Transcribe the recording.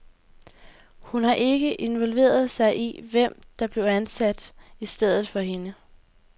Hun har ikke involveret sig i, hvem der blev ansat i stedet for hende.